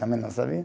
Também não sabia.